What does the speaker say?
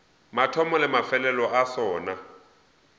mathomo le mafelelo a sona